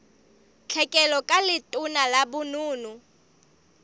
tlhekelo ka letona la bonono